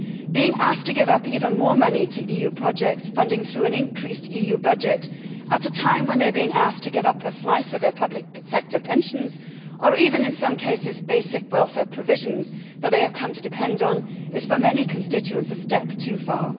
Being asked to give up even more money to funding EU projects through an increased EU budget at a time when they are being asked to give up a slice of their public sector pensions, or even in some cases basic welfare provisions that they have come to depend on, is for many constituents a step too far.